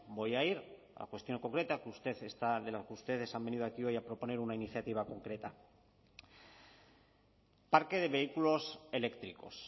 voy a ir a la cuestión concreta que usted está de la que ustedes han venido aquí hoy a proponer una iniciativa concreta parque de vehículos eléctricos